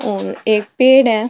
और एक पेड़ है।